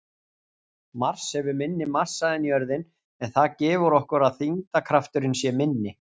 Mars hefur minni massa en jörðin en það gefur okkur að þyngdarkrafturinn sé minni.